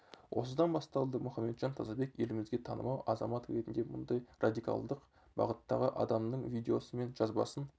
осыдан басталды мұхамеджан тазабек елімізге танымал азамат ретінде мұндай радикалдық бағыттағы адамның видеосы мен жазбасын